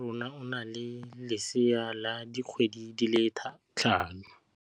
Moagisane wa rona o na le lesea la dikgwedi tse tlhano.